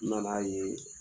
N na n'a ye